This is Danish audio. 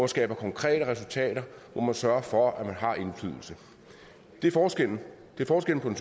skaber konkrete resultater og hvor man sørger for at man har indflydelse det er forskellen det er forskellen